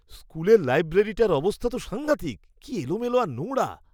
স্কুলের লাইব্রেরিটার অবস্থা তো সাঙ্ঘাতিক; কী এলোমেলো আর নোংরা।